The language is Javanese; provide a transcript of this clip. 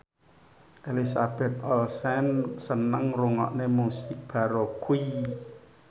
Elizabeth Olsen seneng ngrungokne musik baroque